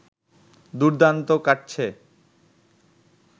দুর্দান্ত কাটছে